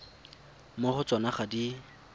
mo go tsona ga di